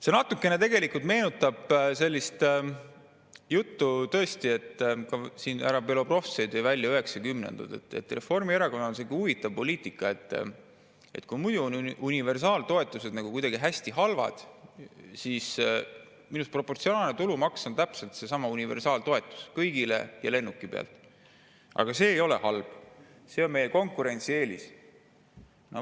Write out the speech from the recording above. See natukene meenutab tõesti sellist juttu – härra Belobrovtsev tõi siin välja üheksakümnendad –, et Reformierakonnal on selline huvitav poliitika, et universaaltoetused on nagu kuidagi hästi halvad, aga proportsionaalne tulumaks, mis minu arust on täpselt seesama universaaltoetus, kõigile ja lennuki pealt, see ei ole halb, see on meie konkurentsieelis.